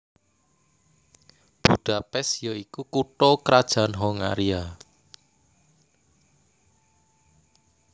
Budapest ya iku kutha krajan Hongaria